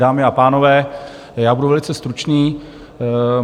Dámy a pánové, já budu velice stručný.